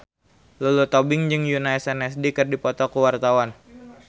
Lulu Tobing jeung Yoona SNSD keur dipoto ku wartawan